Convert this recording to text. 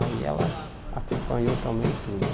Aí ela acompanhou também tudo.